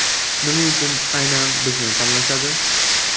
Nima uchun aynan bizni tanlashadi?